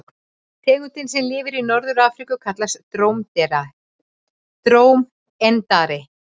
Tegundin sem lifir í Norður-Afríku kallast drómedari.